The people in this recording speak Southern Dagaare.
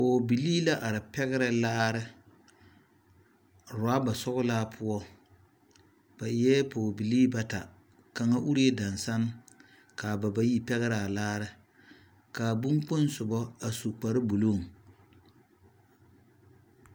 pɔge bilii la are pɛgerɛ laare ɔraba sɔglaa poɔ ba eɛ Pɔge bilii bata kaŋ urre dasen, kaa ba bayi pɛgerɛ a la kaa bon kpoŋ soba a su kpare buluu,